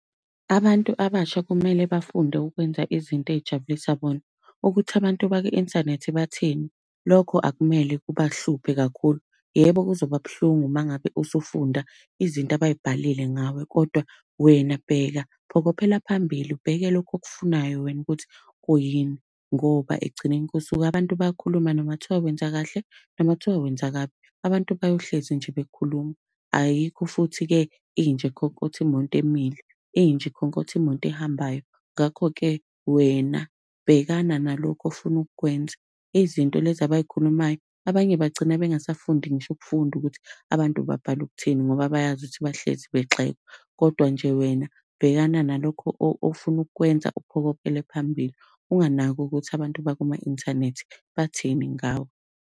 Abantu abasha kumele bafunde ukwenza izinto ey'jabulisa bona. Ukuthi abantu bakwi-inthanethi bathini, lokho akumele kubahluphe kakhulu. Yebo kuzoba buhlungu uma ngabe usufunda izinto abay'bhalile ngawe kodwa wena bheka, phokophela phambili, ubheke lokho okufunayo wena ukuthi kuyini. Ngoba ekugcineni kosuku abantu bayakhuluma noma kuthiwa wenza kahle, noma kuthiwa wenza kabi, abantu bayohlezi nje bekhuluma. Ayikho futhi-ke inja ekhonkotha imoto emile, inja ikhonkotha imoto ehambayo. Ngakho-ke wena bhekana nalokhu ofuna ukukwenza, izinto lezi abay'khulumayo, abanye bagcina bengasafundi ngisho ukufunda ukuthi abantu babhale ukuthini ngoba bayazi ukuthi bahlezi begxekwa. Kodwa nje wena bhekana nalokhu ofuna ukukwenza uphokophele phambili, unganaki ukuthi abantu bakuma-inthanethi bathini ngawe.